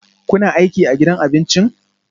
Kuna aiki a gidan abincin?